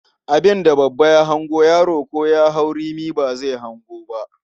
Abin da babba ya hango, yaro ko rimi ya hau ba zai hango ba.